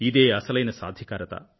ఇదే అసలైన సాధికారిత